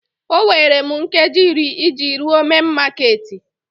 O nwere m nkeji iri iji rue main makeeti